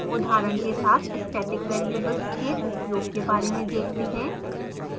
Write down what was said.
उदाहरण के साथ static variables के उपयोग के बारे में देखते हैं